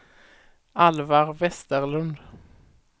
Alvar Westerlund